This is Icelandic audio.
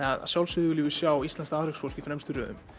að sjálfsögðu viljum við sjá íslenskt afreksfólk í fremstu röðum